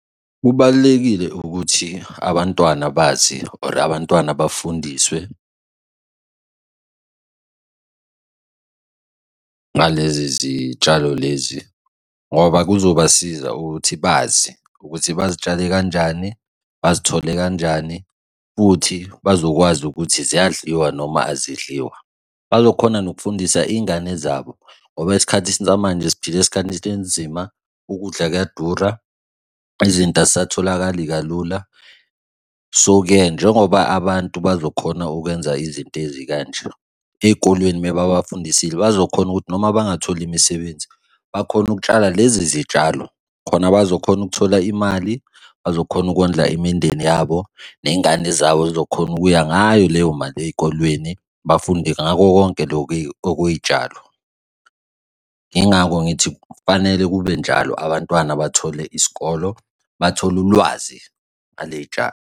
Kubalulekile ukuthi abantwana bazi or abantwana bafundiswe lezi zitshalo lezi ngoba kuzobasiza ukuthi bazi ukuthi bazitshale kanjani, bazithole kanjani futhi bazokwazi ukuthi ziyadliwa noma azidliwa. Bazokhona nokufundisa iy'ngane zabo ngoba esikhathi samanje siphila esikhathini esinzima ukudla kuyadura izinto azisatholakali kalula. So-ke, njengoba abantu bazokhona ukwenza izinto ezikanje, ey'kolweni mababafundisile bazokhona ukuthi noma bangatholi imisebenzi bakhone ukutshala lezi zitshalo khona bazokhona ukuthola imali, bazokhona ukondla imindeni yabo ney'ngane zabo y'zokhona ukuya ngayo leyo mali ey'kolweni, bafunde ngakho konke lokhu okuyiy'tshalo, yingakho ngithi kufanele kube njalo abantwana bathole isikolo bathole ulwazi ngale y'tshalo.